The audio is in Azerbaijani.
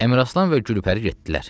Əmiraslan və Gülpəri getdilər.